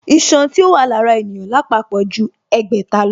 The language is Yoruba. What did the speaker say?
Iṣan tí ó wà lára ènìyàn lápapọ̀ ju ẹgbẹ̀ta lọ